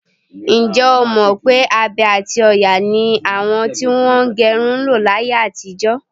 Ǹjẹ́́ o mọ̀ pé abe àti òòyà ni àwọn tí wọ́n ń gẹrun ń lo láyé àtijọ?